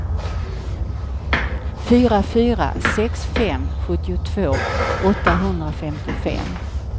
fyra fyra sex fem sjuttiotvå åttahundrafemtiofem